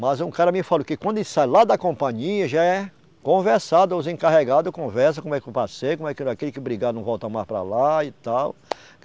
Mas um cara me falou que quando ele sai lá da companhia já é conversado, os encarregado conversa como é que o passeio, como é que aquele que brigar não volta mais para lá e tal.